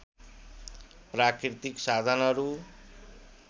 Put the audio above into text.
प्राकृतिक साधनहरू